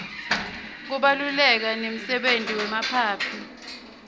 kubaluleka nemdebenti yemaphaphy